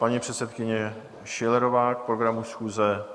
Paní předsedkyně Schillerová k programu schůze.